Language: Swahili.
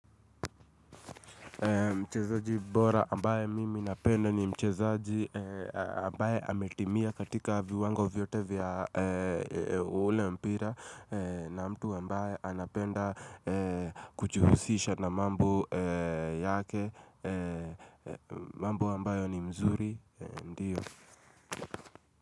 Mchezaji bora ambaye mimi napenda ni mchezaji ambaye ametimia katika viwango vyote vya ule mpira na mtu ambaye anapenda kujihusisha na mambo yake, mambo ambayo ni mzuri.